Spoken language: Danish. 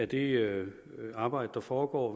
det arbejde der foregår